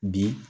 Bi